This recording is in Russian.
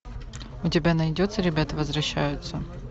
у тебя найдется ребята возвращаются